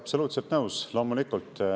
Absoluutselt nõus, loomulikult.